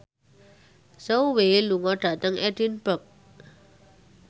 Zhao Wei lunga dhateng Edinburgh